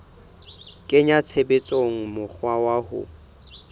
kenya tshebetsong mokgwa wa ho